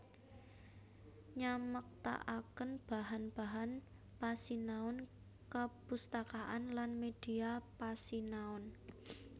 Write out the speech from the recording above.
Nyamektaaken bahan bahan pasinaon kepustakaan lan medhia pasinaon